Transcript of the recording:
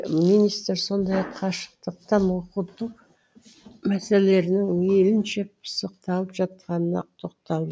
министр сондай ақ қашықтан оқыту мәселелерінің мейлінше пысықталып жатқанына тоқталды